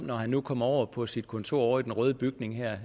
når han nu kommer over på sit kontor i den røde bygning